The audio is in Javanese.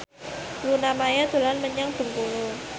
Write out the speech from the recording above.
Luna Maya dolan menyang Bengkulu